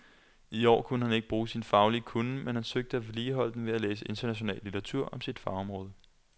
I år kunne han ikke bruge sine faglige kunnen, men han søgte at vedligeholde den ved at læse international litteratur om sit fagområde.